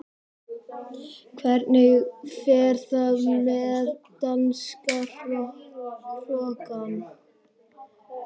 Hvernig fer það með danska hrokann?